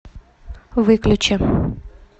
выключи